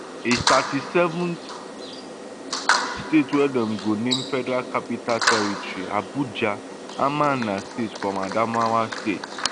a thirty-seventh state wey dem go name federal capital territory abuja amana state from adamawa state